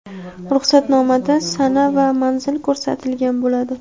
Ruxsatnomada sana va manzil ko‘rsatilgan bo‘ladi.